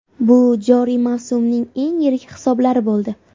Bu joriy mavsumning eng yirik hisoblari bo‘ldi.